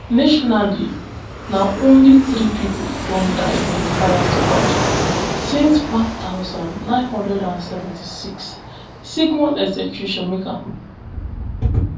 nationally na only three pipo don die by firing squad since one thousand, nine hundred and seventy-six sigmon execution make am four